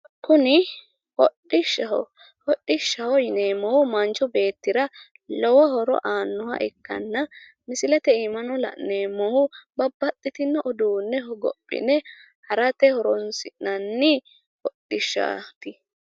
Kuni hodhishshaho hodhishshaho yineemohu manchi beetira lowo horo aannoha ikkanna misilete iima no la'neemohu babbaxitino uduune hogophine harate horoosi'nanni hodhishshati.